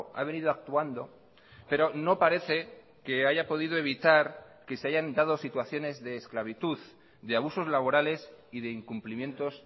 ha venido actuando pero no parece que haya podido evitar que se hayan dado situaciones de esclavitud de abusos laborales y de incumplimientos